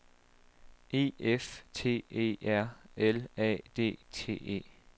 E F T E R L A D T E